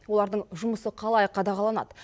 олардың жұмысы қалай қадағаланады